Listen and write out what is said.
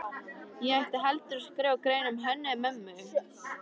Ég ætti heldur að skrifa grein um Hönnu-Mömmu.